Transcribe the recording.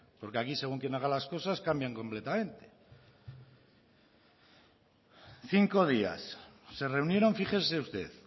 porque aquí según quién haga las cosas cambian completamente cinco días se reunieron fíjese usted